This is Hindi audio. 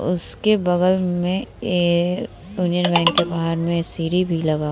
उसके बगल में ए यूनियन बैंक के बाहर में सीढ़ी भी लगा हुआ --